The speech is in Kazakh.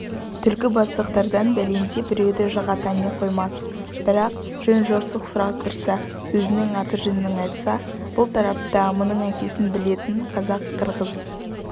түлкібастықтардан бәлендей біреуді жыға тани қоймас бірақ жөн-жосық сұрастырса өзінің аты-жөнін айтса бұл тарапта мұның әкесін білетін қазақ-қырғыз